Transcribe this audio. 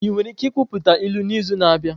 Ị nwere ike ikwuputa ilu n'izu na-abịa?